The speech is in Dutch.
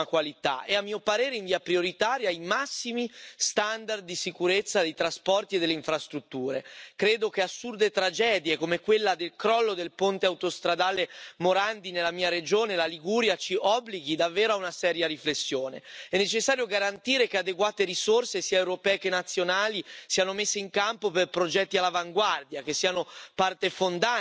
Maar ook intelligente transportsystemen helpen ons ons duurzamer, veiliger en efficiënter te verplaatsen. Ik ben dan ook zeer verheugd over Europese initiatieven, waaronder het Europese ITS congres. Dit congres wordt in 2019 in Nederland in mijn eigen regio